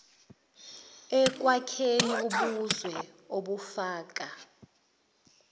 ekwakheni ubuzwe obufaka